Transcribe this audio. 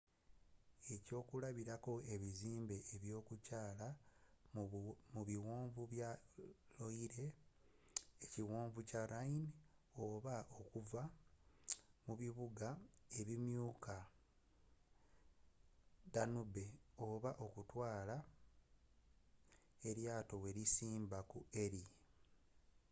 eky'okulabilako ebizimbe eby'okukyaala mu biwonvu bya loire ekiwonvu kya rhine oba okuvuga mu bibuga ebinyuma ku danube oba okutwaala eryatowelisimba ku erie